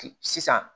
Sisan